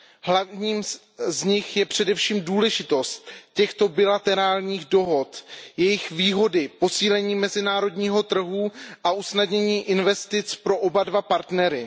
Hlavním z nich je především důležitost těchto bilaterárních dohod a jejich výhody posílení mezinárodního trhu a usnadnění investic pro oba dva partnery.